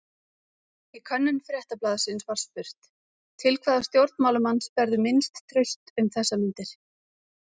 Í könnun Fréttablaðsins var spurt: Til hvaða stjórnmálamanns berðu minnst traust um þessar mundir?